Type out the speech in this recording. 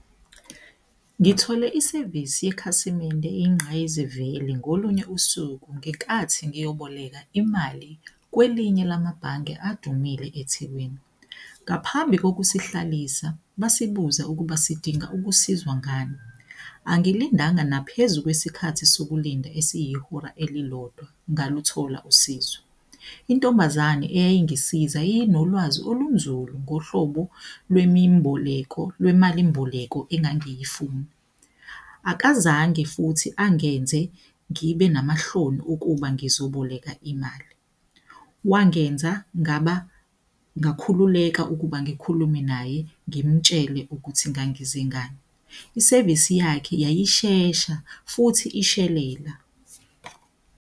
Ngithole isevisi yekhasimende inqayizivele ngolunye usuku, ngenkathi ngiyoboleka imali kwelinye lama bhange adumile eThekwini. Ngaphambi kokusihlabelisa basibuza ukuba sidinga ukusizwa ngani, angilindanga naphezu kwesikhathi sokulinda esiyihora elilodwa ngaluthola usizo. Intombazane eyayingisiza yiyonolwazi olunzulu ngohlobo lwemimboleko, lwemalimboleko angangangiyifuna, akazange futhi angenze ngibe namahloni ukuba ngizoboleka imali. Wangenza ngakhululeka ukuba ngikhulume naye, ngimtshele ukuthi ngangize ngani. Isevisi yakhe yayishesha, futhi ishelela.